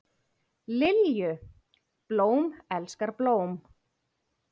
Lilju, blóm elskar blóm.